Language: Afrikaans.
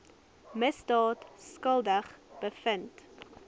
misdaad skuldig bevind